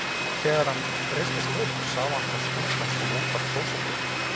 Þegar hann reisti sig upp sá hann hvar stúlkan kom útaf klósettinu.